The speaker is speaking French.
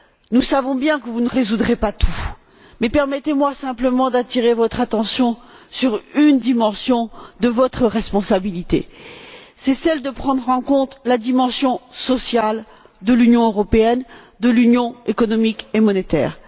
Nous savons bien que vous ne résoudrez pas tous les problèmes, mais permettez moi simplement d'attirer votre attention sur une dimension de votre responsabilité, à savoir celle de prendre en compte la dimension sociale de l'Union européenne, de l'Union économique et monétaire.